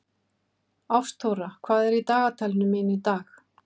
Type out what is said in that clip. Ástþóra, hvað er í dagatalinu mínu í dag?